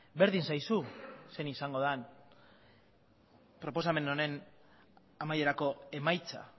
berdin zaizu zein izango den proposamen honen amaierako emaitza